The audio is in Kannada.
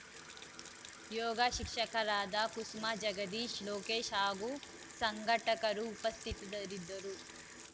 ಯೋಗ ಶಿಕ್ಷಕರಾದ ಕುಸುಮಾ ಜಗದೀಶ್ ಲೋಕೇಶ್‌ ಹಾಗೂ ಸಂಘಟಕರು ಉಪಸ್ಥಿತರಿದ್ದರು